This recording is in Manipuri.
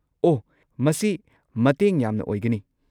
ꯑꯣꯍ, ꯃꯁꯤ ꯃꯇꯦꯡ ꯌꯥꯝꯅ ꯑꯣꯏꯒꯅꯤ꯫